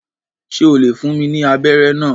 Ṣe o le fún mí ní abẹrẹ náà?